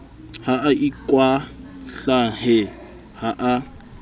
ha a ikwahlahe ha a